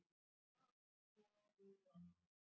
Eyvar, hvernig er veðrið úti?